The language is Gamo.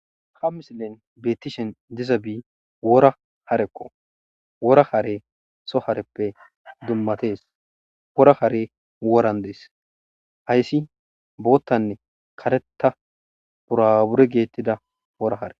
Ha misilen beetishe dizabi wora hareko. Wora harey soo hareppe dummatees. Wora harey woran dees. Hayssi bootaanne karetta,burabure vetetida wora hare.